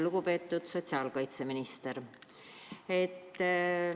Lugupeetud sotsiaalkaitseminister!